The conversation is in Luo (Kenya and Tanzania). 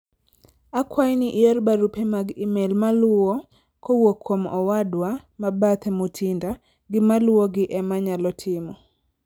akwayi ni ior barupe mag email maluwo kowuok kuom owadwa mabathe Mutinda gi maluwogi ema anyalo timo